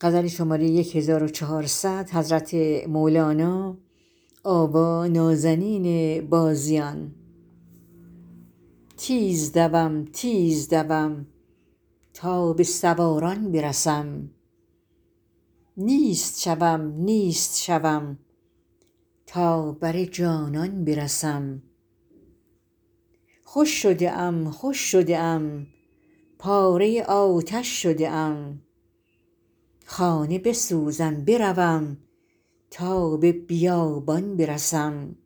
تیز دوم تیز دوم تا به سواران برسم نیست شوم نیست شوم تا بر جانان برسم خوش شده ام خوش شده ام پاره آتش شده ام خانه بسوزم بروم تا به بیابان برسم